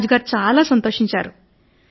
రాజుగారు సంతోషించారు